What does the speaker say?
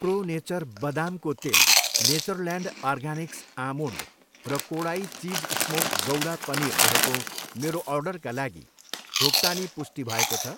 Pro Nature बदामको तेल, Natureland Organics almond र Kodai cheese smoked gouda paneer रहेको मेरो अर्डरका लागि भुक्तानी पुष्टि भएको छ?